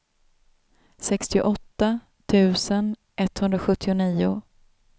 sextioåtta tusen etthundrasjuttionio